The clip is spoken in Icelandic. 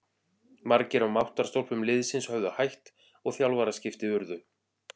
Margir af máttarstólpum liðsins höfðu hætt og þjálfaraskipti urðu.